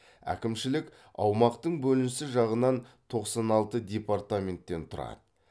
әкімшілік аумақтың бөлінісі жағынан тоқсан алты департаменттен тұрады